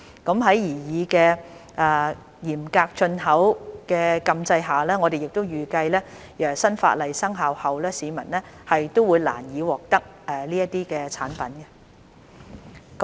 在擬議的嚴格進口的禁制下，我們亦預計新法例生效後市民會難以獲得這些產品。